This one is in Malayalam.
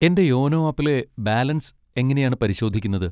എന്റെ യോനോ ആപ്പിലെ ബാലൻസ് എങ്ങനെയാണ് പരിശോധിക്കുന്നത്?